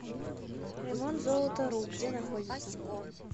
ремонтзолотару где находится